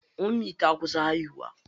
Ummi ta kusa haihuwa.